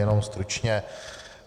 Jenom stručně.